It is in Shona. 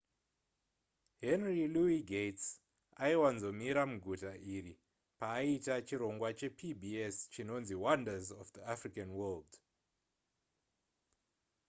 henry louis gates' aiwanzomira muguta iri paaita chirongwa chepbs chinonzi wonders of the african world